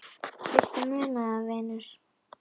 Viltu muna það, vinur?